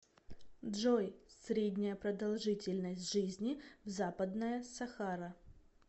джой средняя продолжительность жизни в западная сахара